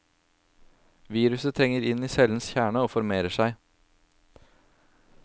Viruset trenger inn i cellens kjerne, og formerer seg.